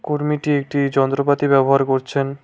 কর্মীটি একটি যন্ত্রপাতি ব্যবহার করছেন।